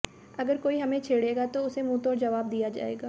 अगर कोई हमें छेड़ेगा तो उसे मुंहतोड़ जवाब दिया जाएगा